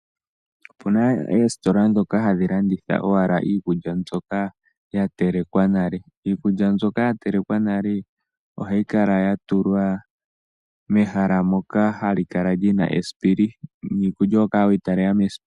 Opuna oositola ndhoka hadhilanditha owala iikulya ndjoka ya telekwa nale ,iikulya ndjoka yatelekwa nale ohayi kala yatulwa mehala ndoka lina esipili niikulya ohokala weyi talela mesipili.